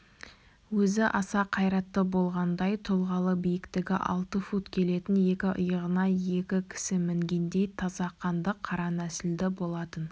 өзі аса қайратты болғандай тұлғалы биіктігі алты фут келетін екі иығына екі кісі мінгендей таза қанды қара нәсілді болатын